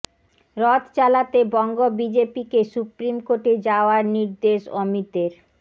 রথ চালাতে বঙ্গ বিজেপিকে সুপ্রিম কোর্টে যাওয়ার নির্দেশ অমিতের